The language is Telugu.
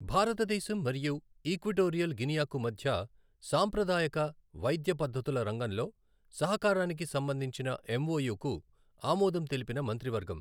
భారతదేశం మరియు ఈక్వటోరియల్ గినియకు మధ్య సాంప్రదాయక వైద్య పద్ధతుల రంగంలో సహకారానికి సంబంధించిన ఎంఒయు కు ఆమోదం తెలిపిన మంత్రివర్గం